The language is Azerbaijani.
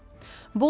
Heç vaxt.